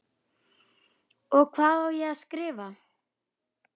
Og hvað á ég að skrifa?